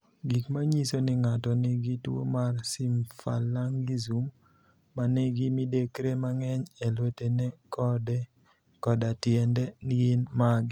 Gik manyiso ni ng'ato nigi tuwo mar Symphalangism ma nigi midekre mang'eny e lwetene koda tiendene gin mage?